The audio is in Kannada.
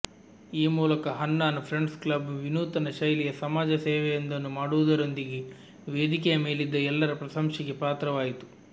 ಈ ಮೂಲಕ ಹನ್ನಾನ್ ಫ್ರೆಂಡ್ಸ್ ಕ್ಲಬ್ ವಿನೂತನ ಶೈಲಿಯ ಸಮಾಜ ಸೇವೆಯೊಂದನ್ನು ಮಾಡವುದರೊಂದಿಗೆ ವೇದಿಕೆಯ ಮೇಲಿದ್ದ ಎಲ್ಲರ ಪ್ರಶಂಸೆಗೆ ಪಾತ್ರವಾಯಿತು